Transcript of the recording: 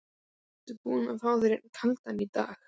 Ertu búinn að fá þér einn kaldan í dag?